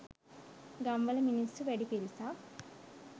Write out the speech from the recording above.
ගම්වල මිනිස්සු වැඩි පිරිසක්